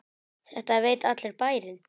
Þetta veit allur bærinn!